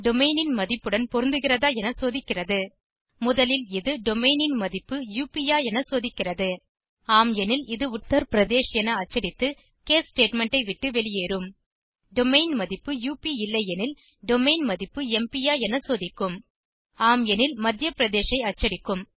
domain ன் மதிப்புடன் பொருந்துகிறதா என சோதிக்கிறது முதலில் இது டொமெயின் ன் மதிப்பு உப் ஆ என சோதிக்கிறது ஆம் எனில் இது உத்தர் பிரதேஷ் என அச்சடித்து கேஸ் ஸ்டேட்மெண்ட் ஐ விட்டு வெளியேறும் டொமெயின் மதிப்பு உப் இல்லையெனில் டொமெயின் மதிப்பு எம்பி ஆ என சோதிக்கும் ஆம் எனில் மத்யா பிரதேஷ் ஐ அச்சடிக்கும்